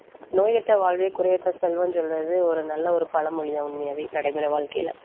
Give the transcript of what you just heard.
நோயற்ற வாழ்வே குறையற்ற செல்வம்னு சொல்றது ஒரு நல்ல ஒரு பழமொழிதான் உண்மையாவே நடைமுறை வாழ்க்கையில.